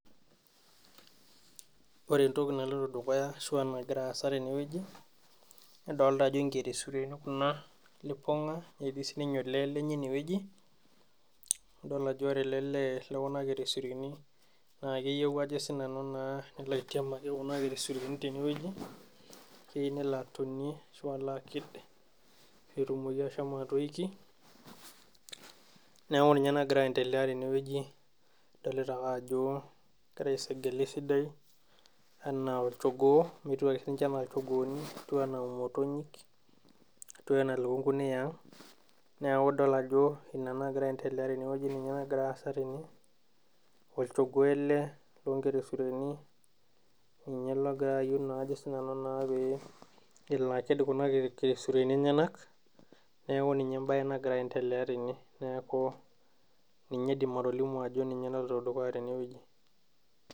Kore entoki naloito dukuya aashu nagira aasa tene wueji, nadolta ajo nkelesureni kuna lipong'a, netii sininye olee lenye ene wueji. Nadol ajo kore ele lee le kuna nkelesureni, naa keyiou ajo naa sinanu neitiamaki kuna kelesureni tene wueji. Keyieu nelo atonyie aashu nelo alo aked, pee etumoki ashomo atoiki. Neaku ninye nagira aendelea tene wueji. Adolita ake ajo etiu ake sinche anaa olchogoo, netiu enaa motonyik, netiu enaa ilukunguni eang'.Neaku idol ajo ina nagira aendelea tene wueji, ninye nagira aasa tene. Olchogoo ele loo nkelesureni, ninye ele ogira ajo sinanu pee elo aked kuna kelesureni enyanak, neaku ninye embae nagira aendelea tene. Neaku ninye aidim atolimu ajo ninye naloito dukuya tene wueji.